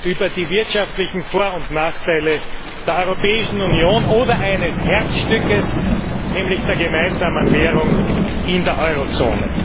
über die wirtschaftlichen Vor und Nachteile der Europäischen Union oder eines Herzstücks, nämlich der gemeinsamen Währung in der Eurozone.